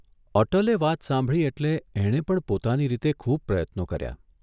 અટલે વાત સાંભળી એટલે એણે પણ પોતાની રીતે ખુબ પ્રયત્નો કર્યા.